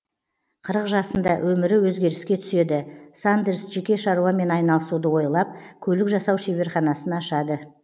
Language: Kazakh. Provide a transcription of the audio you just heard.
қырық жасында өмірі өзгеріске түседі сандерс жеке шаруамен айналысуды ойлап көлік жасау шеберханасын ашады